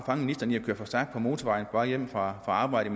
fange ministeren i at køre for stærkt på motorvejen vej hjem fra arbejdet